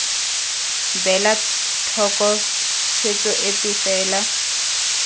beela thoko tshwetso epe fela